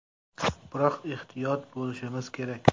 Biroq ehtiyot bo‘lishimiz kerak.